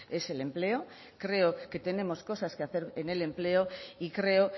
es el empleo creo que tenemos cosas que hacer en el empleo y creo